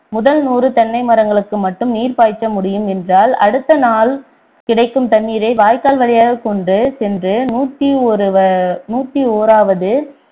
முதல் நூறு தென்னை மரங்களுக்கு மட்டும் நீர் பாய்ச்ச முடியும் என்றால் அடுத்த நாள் கிடைக்கும் தண்ணீரை வாய்க்கால் வழியாகக் கொண்டு சென்று நூத்தி ஒரு வ~ நூத்தி ஓராவது